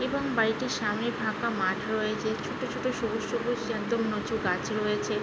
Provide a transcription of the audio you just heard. এবং বাড়িতে সামনে সামনে থাকা মাঠ রয়েছে। ছোট ছোট সবুজ সবুজ উঁচু গাছ রয়েছে --